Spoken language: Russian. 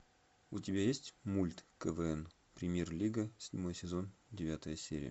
у тебя есть мульт квн премьер лига седьмой сезон девятая серия